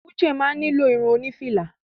Uche máa ni lo irun oni fìlà.